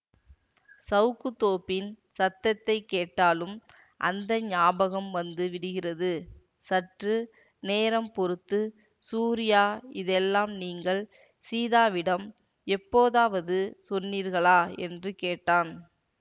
சவுக்குத் தோப்பின் சத்தத்தை கேட்டாலும் அந்த ஞாபகம் வந்து விடுகிறது சற்றுநேரம் பொறுத்து சூரியா இதையெல்லாம் நீங்கள் சீதாவிடம் எப்போதாவது சொன்னீர்களா என்று கேட்டான்